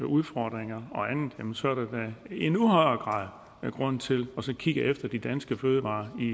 udfordringer og andet så er der da i endnu højere grad grund til også at kigge efter de danske fødevarer i